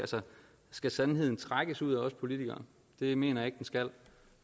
skal sandheden trækkes ud af os politikere det mener jeg ikke den skal